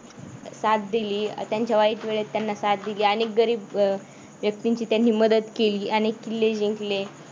साथ दिली त्यांच्या वाईट वेळेत त्यांना साथ दिली. अनेक गरीब व्यक्तींची त्यांनी मदत केली. अनेक किल्ले जिंकले.